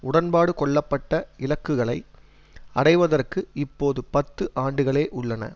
உடன்பாடு கொள்ளப்பட்ட இலக்குகளை அடைவதற்கு இப்பொது பத்து ஆண்டுகளே உள்ளன